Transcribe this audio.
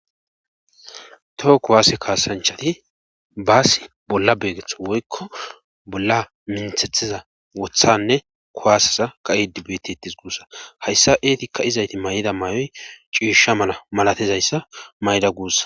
Toho kuwaasse kaasanchati baasi bolla beegetho woykko bolla minthethiza wothanne kuwaaseza ka7i dibettis guussa hayssa eetikka izayti may7da maayoy ciisha mana malatizayssa mayda guussa.